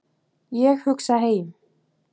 Ég hugsa heim.